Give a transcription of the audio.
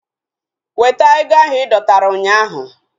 Weta ego ahu idọtara ụnyaahụ!